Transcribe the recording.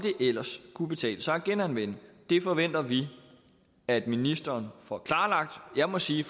ellers kunne betale sig at genanvende det forventer vi at ministeren får klarlagt jeg må sige